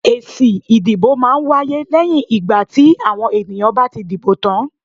Èsì ìdìbò máa ń wáyé lẹ́yìn ìgbà tí àwọn èèyàn bá ti dìbò tán.